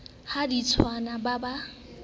ha di tswane ba ba